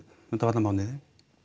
undanfarna mánuði